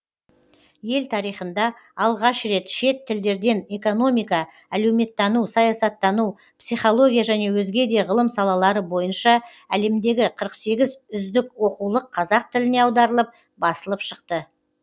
ел тарихында алғаш рет шет тілдерден экономика әлеуметтану саясаттану психология және өзге де ғылым салалары бойынша әлемдегі қырық сегіз үздік оқулық қазақ тіліне аударылып басылып шықты